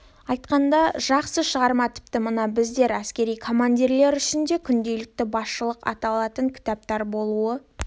айтқанда жақсы шығарма тіпті мына біздер әскери командирлер үшін де күнделікті басшылыққа алатын кітап болуы